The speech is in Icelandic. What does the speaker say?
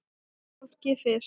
Fólkið fyrst!